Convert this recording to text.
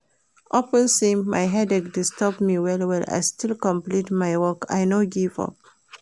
Upon sey headache disturb me well-well, I still complete my work, I no give up.